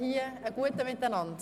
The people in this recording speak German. Einen guten Appetit!